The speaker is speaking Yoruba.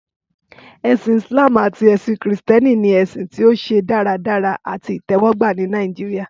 Ẹsin Islam ati ẹsin Kristiani ni ẹsin ti o ṣe daradara ati itẹwọgba ni Nigeria.